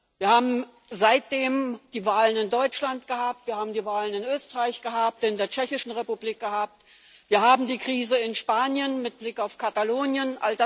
Wir haben seitdem die Wahlen in Deutschland gehabt, wir haben die Wahlen in Österreich gehabt, in der Tschechischen Republik, wir haben die Krise in Spanien mit Blick auf Katalonien.